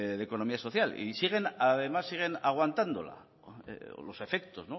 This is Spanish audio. de economía social y además siguen aguantándola o los efectos